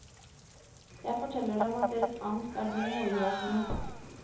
Jeg forteller dem at deres angst er dum og irrasjonell.